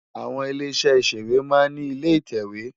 Awòn ilé iṣè iṣéwé má n ni ilé itèwé